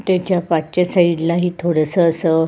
तेच्या पाठच्या साइड ला ही थोडस अस--